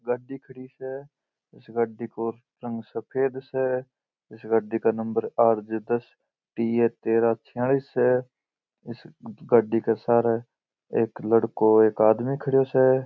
यह एक गाड़ी खड़ी स इस गाड़ी का रंग सफ़ेद स इस गाड़ी का नंबर आर जे दस टी ए तेरह छयालिश स इस गाड़ी के सहारे एक लड़का और एक आदमी खड़ा स।